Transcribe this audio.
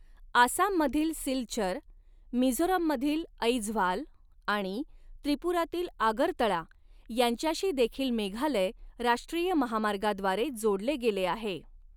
आसाममधील सिलचर, मिझोरममधील ऐझवाल आणि त्रिपुरातील आगरतळा यांच्याशीदेखील मेघालय राष्ट्रीय महामार्गाद्वारे जोडले गेले आहे.